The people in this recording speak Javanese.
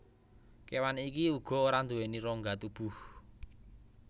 Kewan iki uga ora nduweni rongga tubuh